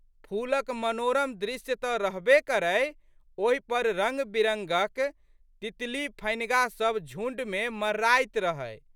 फूलक मनोरम दृश्य तऽ रहबे करै ओहि पर रंगबिरंगक तितलीफनिगा सब झुंडमे मड़राइत रहै।